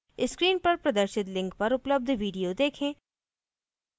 screen पर प्रदर्शित link पर उपलब्ध video देखें